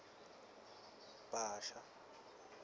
bhasha